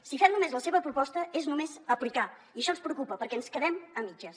si fem només la seva proposta és només aplicar i això ens preocupa perquè ens quedem a mitges